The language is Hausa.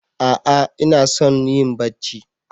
A'a inason yin Bacci?